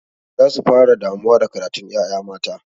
Za su fara damuwa da karatun ƴaƴa mata.